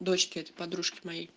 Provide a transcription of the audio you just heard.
дочке этой подружки моей